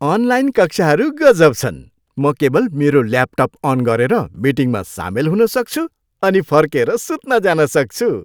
Online कक्षाहरू गजब छन्। म केवल मेरो ल्यापटप अन गरेर मिटिङमा सामेल हुन सक्छु अनि फर्केर सुत्न जान सक्छु।